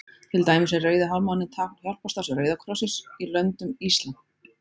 Til dæmis er Rauði hálfmáninn tákn hjálparstarfs Rauða krossins í löndum íslam.